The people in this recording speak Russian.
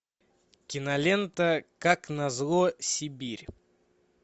кинолента как назло сибирь